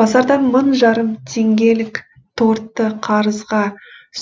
базардан мың жарым теңгелік тортты қарызға